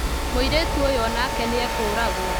Mũirĩtu ũyũoonake nĩekũũragwo